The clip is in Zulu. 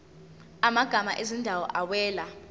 amagama ezindawo awela